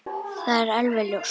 Það er alveg ljóst!